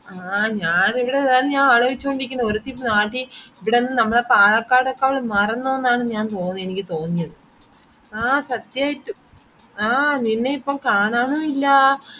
ആഹ് ഞാൻ എവിടെ ഇതാണ് അലോയിച്ചോണ്ട് ഇരിക്കുന്നെ ഒരുതിപ്പോ നാട്ടിൽ ഇവിടന്ന് നമ്മളെ പാലക്കാടേക്കാളും മറന്നോന്നാണ് ഞാൻ തോന്നിയ എനിക്ക് തോന്നിയത് ആഹ് സത്യായിട്ടും ആഹ് നിന്നെ ഇപ്പോ കാണാനും ഇല്ലാ